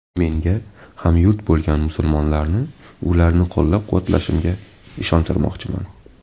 Menga hamyurt bo‘lgan musulmonlarni ularni qo‘llab-quvvatlashimga ishontirmoqchiman”.